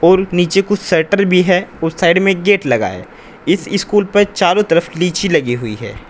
और नीचे कुछ शटर भी है उस साइड मे एक गेट लगा है इस स्कूल पर चारों तरफ लीची लगी हुई है।